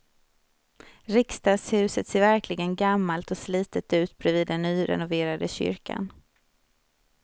Riksdagshuset ser verkligen gammalt och slitet ut bredvid den nyrenoverade kyrkan.